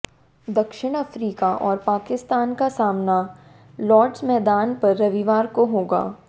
दक्षिण अफ्रीका और पाकिस्तान का सामना लॉड्स मैदान पर रविवार को होगा